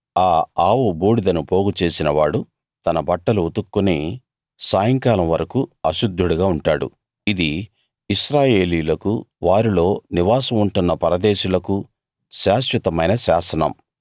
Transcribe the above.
ఆ ఆవు బూడిదను పోగు చేసిన వాడు తన బట్టలు ఉతుక్కుని సాయంకాలం వరకూ అశుద్ధుడుగా ఉంటాడు ఇది ఇశ్రాయేలీయులకూ వారిల్లో నివాసం ఉంటున్న పరదేశులకూ శాశ్వతమైన శాసనం